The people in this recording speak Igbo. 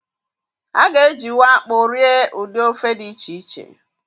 A ga-ejiwu akpụ rie ụdị ofe dị iche iche